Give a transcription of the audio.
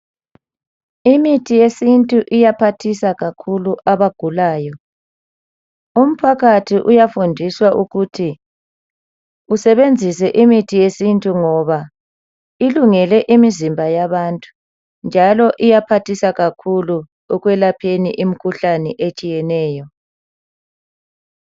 Imithi yesintu iyaphathisa kakhulu abagulayo. Umphakathi uyafundiswa ukuthi usebenzise imithi yesintu ngoba ilungele imizimba yabantu njalo iyaphathisa kakhulu ekwelapheni imikhuhlane etshiyeneyo.